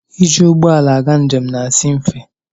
Ịjị ụgbọala aga njem na-asi mfe.